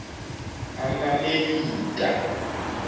amamelika